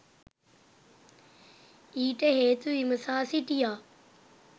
ඊට හේතු විමසා සිටියා.